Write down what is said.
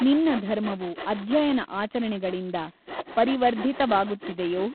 ನಿನ್ನ ಧರ್ಮವು ಅಧ್ಯಯನ ಆಚರಣೆಗಳಿಂದ ಪರಿವರ್ಧಿತವಾಗುತ್ತಿದೆಯೋ?